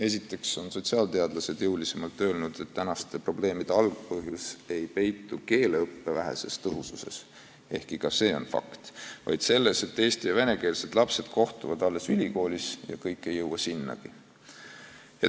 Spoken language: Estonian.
Esiteks on sotsiaalteadlased jõulisemalt öelnud, et tänaste probleemide algpõhjus ei peitu keeleõppe väheses tõhususes, ehkki ka see on fakt, vaid selles, et eesti- ja venekeelsed lapsed kohtuvad alles ülikoolis ja kõik ei jõuagi sinna.